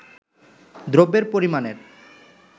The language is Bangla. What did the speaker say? দ্রব্যের পরিমাণের